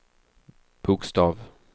bokstav